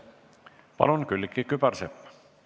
Palun, Külliki Kübarsepp!